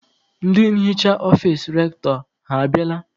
Ndị nhicha ọfici Rektọ ha abịala?